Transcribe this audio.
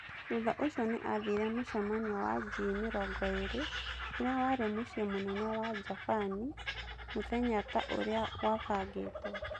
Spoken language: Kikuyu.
Thutha ũcio nĩ athire mũcemanio waG20 ũrĩa warĩ mũcie munene wa Jabani mũthenya ta ũrĩa gwabangĩtwo.